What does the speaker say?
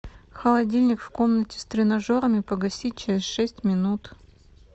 холодильник в комнате с тренажерами погасить через шесть минут